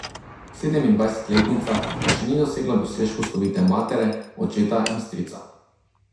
Sedemindvajsetletnica pa še ni dosegla dosežkov slovite matere, očeta in strica.